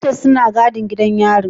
Warders suna gadin gidan yarin.